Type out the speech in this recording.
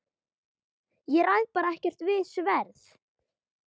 Ég ræð bara ekkert við þetta sverð!